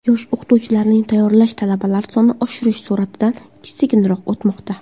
Yosh o‘qituvchilarni tayyorlash talabalar soni oshishi sur’atidan sekinroq o‘tmoqda.